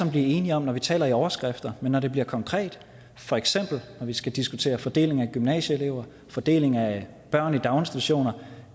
blive enige om når vi taler i overskrifter men når det bliver konkret for eksempel når vi skal diskutere fordelingen af gymnasieelever fordelingen af børn i daginstitutioner